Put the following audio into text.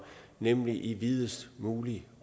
nemlig i videst mulig